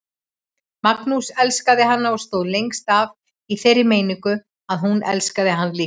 Magnús elskaði hana og stóð lengst af í þeirri meiningu að hún elskaði hann líka.